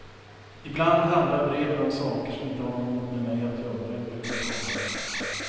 Ibland handlar breven om saker som inte har något med mig att göra överhuvudtaget.